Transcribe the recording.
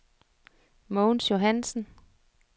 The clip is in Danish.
Mogens Johansen